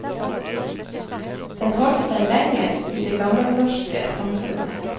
Den holdt seg lenger i det gammelnorske samfunnet.